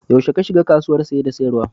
Yaushe ka shiga kasuwar Saye da sayarwa?